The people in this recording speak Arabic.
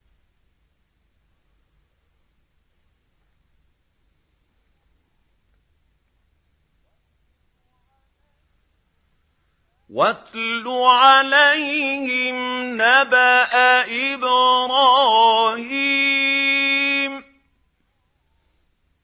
وَاتْلُ عَلَيْهِمْ نَبَأَ إِبْرَاهِيمَ